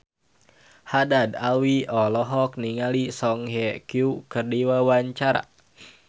Haddad Alwi olohok ningali Song Hye Kyo keur diwawancara